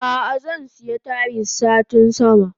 Ah ah zansiya Tayis satin sama.